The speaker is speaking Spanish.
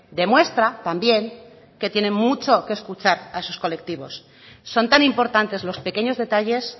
demuestra también que tienen mucho que escuchar a esos colectivos son tan importantes los pequeños detalles